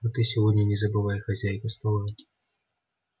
а ты сегодня не забывай хозяйка стола